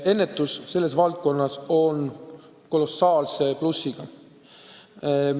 Ennetus selles valdkonnas on kolossaalse plussiga.